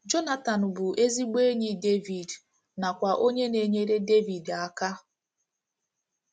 Jọnatan bụ ezigbo enyi Devid nakwa onye na - enyere Devid aka.